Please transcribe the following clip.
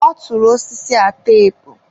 ọ tụrụ osisi a teepu.